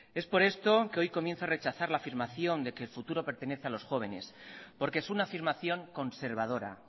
es por esto que hoy comienza a rechazar la afirmación de que el futuro pertenece a los jóvenes porque es una afirmación conservadora